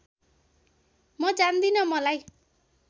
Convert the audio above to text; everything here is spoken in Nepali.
म जान्दिन मलाई